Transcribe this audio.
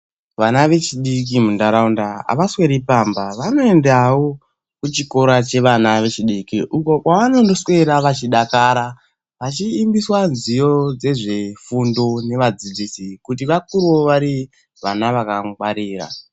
Vana vechidiki mundaraunda havasweri pamba vanoendawo kuchikora chevana vechidiki uko kwavanoswera vachidakara, vachiimbiswa nziyo dzezvefundo nevadzidzisi kuti vakurewo vari vana vakangwarira.